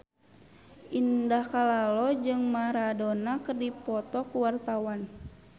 Indah Kalalo jeung Maradona keur dipoto ku wartawan